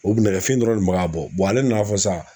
O kun nɛgɛfin dɔrɔn de kun bɛ ka bɔ ale nan'a fɔ sisan.